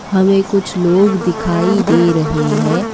हमें कुछ लोग दिखाई दे रहे हैं।